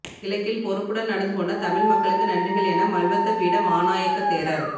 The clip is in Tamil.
கிழக்கில் பொறுப்புடன் நடந்துகொண்ட தமிழ் மக்களுக்கு நன்றிகள் என மல்வத்த பீட மாநாயக்க தேரர்